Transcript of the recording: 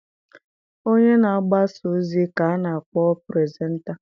Onye na-agbasa ozi ka a na-akpọ puresenta